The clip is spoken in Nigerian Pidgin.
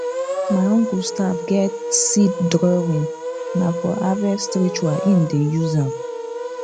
my uncle staff get seed drawingna for harvest ritual him dey use am